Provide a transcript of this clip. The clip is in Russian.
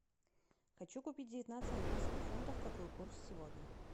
хочу купить девятнадцать английских фунтов какой курс сегодня